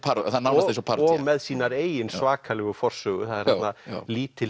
er nánast eins og parodía og með sína eigin svakalegu forsögu það er þarna lítil